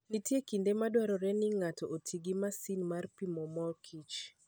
Nitie kinde ma dwarore ni ng'ato oti gi masin mar pimo mor kich.